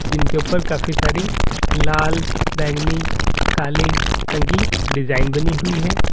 जिनके ऊपर काफी सारी लाल बैंगनी काली रंग की डिजाइन बनी हुई है।